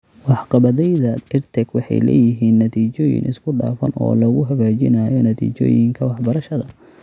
Waxqabadyada EdTech waxay leeyihiin natiijooyin isku dhafan oo lagu hagaajinayo natiijooyinka waxbarashada.